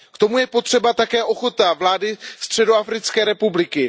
K tomu je potřeba také ochota vlády Středoafrické republiky.